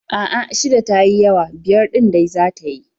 A'a, shida ta yi yawa, biyar ɗin dai za ta yi.